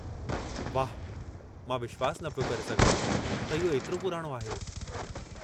वाहु, मां विश्वासु न पियो करे सघां त इहो एतिरो पुराणो आहे।